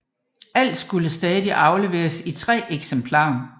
Alt skulle stadig afleveres i 3 eksemplarer